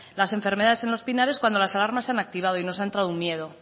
las enfermedades en los pinares cuando las alarmas se han activado y nos ha entrado un miedo